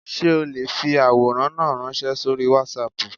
Sé o le fi àwòrán náà ránsẹ́ sórí Wásaàpù